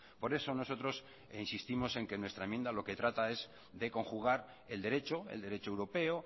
por eso nosotros insistimos en que nuestra enmienda lo que trata es de conjugar el derecho el derecho europeo